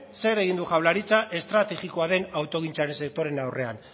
zer egin du jaurlaritzak estrategikoa den autogintzaren sektorearen aurrean